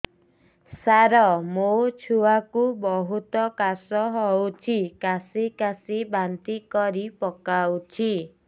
ସାର ମୋ ଛୁଆ କୁ ବହୁତ କାଶ ହଉଛି କାସି କାସି ବାନ୍ତି କରି ପକାଉଛି